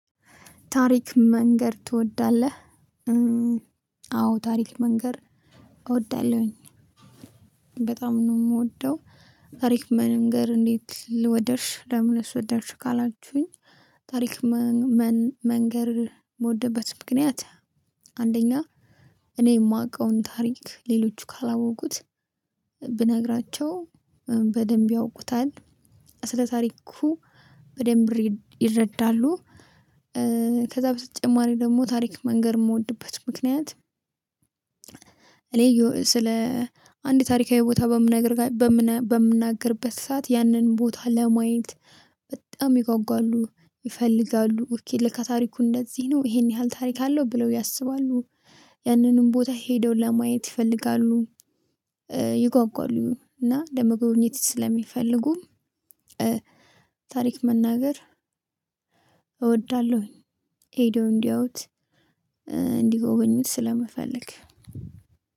ታሪክ መንገር ትወዳለህ? አዎ ታሪክ መንገር እወዳለሁኝ በጣም ነው የምወደው። አሪፍ መንገር እንዴት ልወደርሽ ለምን ወደድሽ ካላችሁኝ። ታሪክ መንገር ምወድበት ምክንያት። አንደኛ እኔ የማውቀውን ታሪክ ሌሎች ካላወቁት ብነግራቸው በደንብ ያውቁታል ስለ ታሪኩ በደንብ ይረዳሉ። ከዛ በተጨማሪ ደግሞ ታሪክ መንገር የምወድበት ምክንያት። እኔ ስለ አንድ ታሪካዊ ቦታ። በምናግር ሰዓት ያንን ቦታ ለማየት በጣም ይጓጓሉ ይፈልጋሉ ለካ ታሪኩ እንደዚህ ነው ይሄን ያህል ታሪክ አለው ብለው ያስባሉ። ያንንም ቦታ ሄደው ለማየት ይፈልጋሉ። ይጓጓሉ እና ለመጎብኘት ስለሚፈልጉ። ታሪክ መናገር እወዳለሁኝ። ሄደው እንዲያዩት እንዲጎበኙት ስለመፈለግ